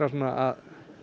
að